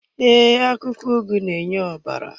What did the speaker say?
Ee, akwụkwọ ugu na-enye ọbara.